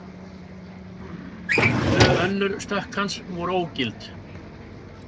Tvö önnur stökk hans voru ógild